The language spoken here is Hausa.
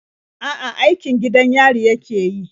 A'a, aikin gidan yari yake yi.